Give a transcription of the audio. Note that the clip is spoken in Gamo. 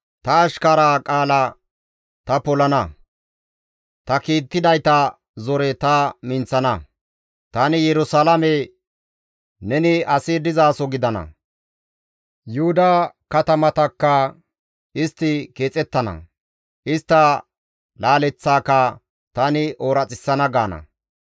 Ta ashkaraza qaala ta polana; ta kiittidayta zore ta minththana; tani Yerusalaame, ‹Neni asi dizaso gidana›, Yuhuda katamatakka, ‹Istti keexettana›, istta laaleththaaka, ‹Tani ooraxissana› gaana.